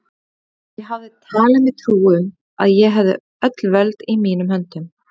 Ég hafði talið mér trú um, að ég hefði öll völd í mínum höndum.